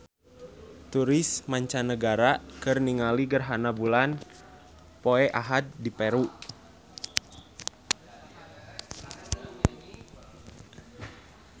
Turis mancanagara keur ningali gerhana bulan poe Ahad di Peru